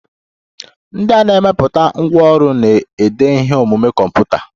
Ndị na-emepụta ngwanrọ na-ede ihe omume kọmputa.